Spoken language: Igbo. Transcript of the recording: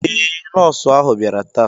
Eé, Nọọsụ ahu biara ta